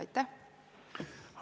Aitäh!